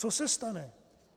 Co se stane?